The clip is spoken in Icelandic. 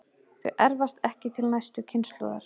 Þau erfast ekki til næstu kynslóðar.